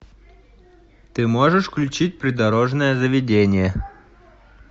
ты можешь включить придорожное заведение